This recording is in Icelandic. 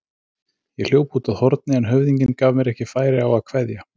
Ég hljóp út að horni en höfðinginn gaf mér ekki færi á að kveðja.